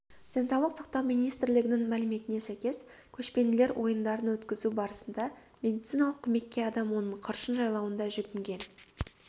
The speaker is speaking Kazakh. денсаулық сақтау министрлігінің мәліметіне сәйкес көшпенділер ойындарын өткізу барысында медициналық көмекке адам оның қыршын жайлауында жүгінген